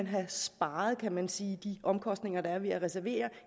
have sparet kan man sige de omkostninger der er ved at reservere